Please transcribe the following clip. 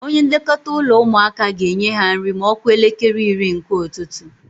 Onye nlekọta ụlọ ụmụaka ga-enye ha nri ma ọ kụọ elekere iri nke ụtụtụ.